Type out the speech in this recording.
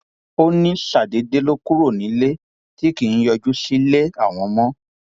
ó ní ṣàdédé ló kúrò nílé tí kì í yọjú sílé àwọn mọ